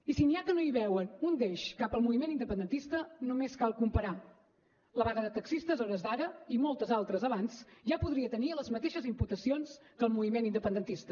i si n’hi ha que no hi veuen un deix cap al moviment independentista només cal comparar la vaga de taxistes a hores d’ara i moltes altres abans ja podria tenir les mateixes imputacions que el moviment independentista